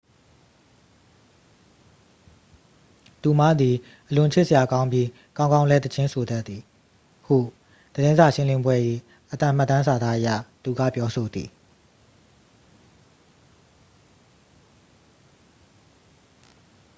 """သူမသည် အလွန်ချစ်စရာကောင်းပြီး ကောင်းကောင်းလည်း သီချင်းဆိုတတ်သည်" ဟု သတင်းစာရှင်းလင်းပွဲ၏ အသံမှတ်တမ်းစာသားအရ သူက ပြောဆိုသည်။